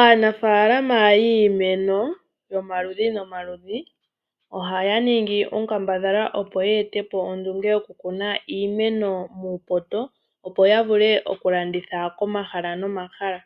Aanafalama yiimeno yomaludhi momaludhi, ohaya ningi onkambadhala opo ya ete po ondunge yokukuna iimeno muupoto, opo ya vule okulanditha komahala nomahala.